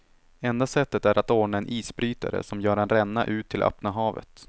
Enda sättet är att ordna en isbrytare som gör en ränna ut till öppna havet.